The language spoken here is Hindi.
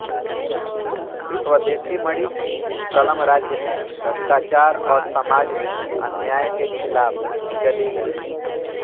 स्वदेशीमणि की कलम राज्य में भ्रष्टाचार और समाज में अन्याय के खिलाफ चली गई